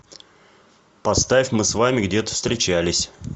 поставь мы с вами где то встречались